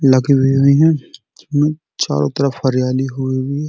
चारो तरफ हरियाली हुई हैं।